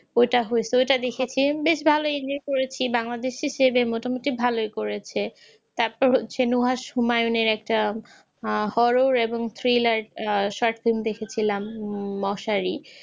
ওইটা হয়েছে ঐটা দেখেছি বেশ ভালোই যে করেছে যে বাংলাদেশ হিসাবে মোটামুটি ভালই করেছে তারপর হচ্ছে হুমায়ুনের একটা আহ horror এবং thriller আহ short film দেখেছিলাম উম মশারি